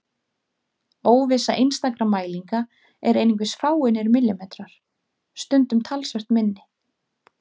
Óvissa einstakra mælinga er einungis fáeinir millimetrar, stundum talsvert minni.